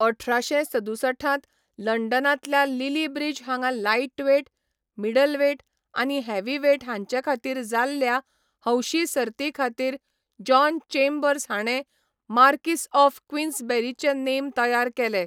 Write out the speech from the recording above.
अठराशे सदुसठांत लंडनांतल्या लिली ब्रिज हांगा लाइटवेट, मिडलवेट आनी हेवीवेट हांचेखातीर जाल्ल्या हौशी सर्तीखातीर जॉन चेंबर्स हाणें मार्कीस ऑफ क्वीन्सबेरीचे नेम तयार केले.